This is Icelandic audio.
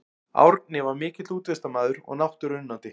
Árni var mikill útivistarmaður og náttúruunnandi.